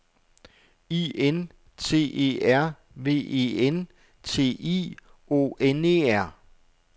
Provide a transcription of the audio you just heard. I N T E R V E N T I O N E R